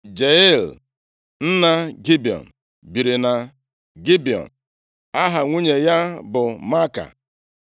Jeiel nna Gibiọn biri na Gibiọn. Aha nwunye ya bụ Maaka.